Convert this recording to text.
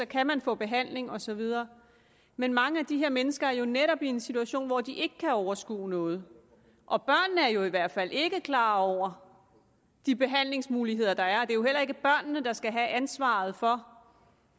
kan man få behandling og så videre men mange af de her mennesker er jo netop i en situation hvor de ikke kan overskue noget og børnene er i hvert fald ikke klar over de behandlingsmuligheder der er er jo heller ikke børnene der skal have ansvaret for